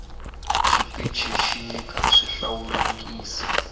xipinici xi nyika swihlawulekisi